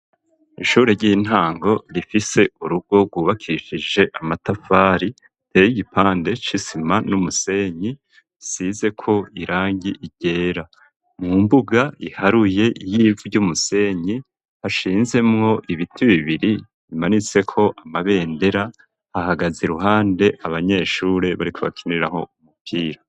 Ishure ry'intango rifise urugo rwubakishije amatafari iteye igipande c'isima n'umusenyi isizeko irangi ryera, mu mbuga iharuye y'ivu ry'umusenyi hashinzemwo ibiti bibiri bimanitseko amabendera hahagaze iruhande abanyeshure bariko bakiniraho umupira.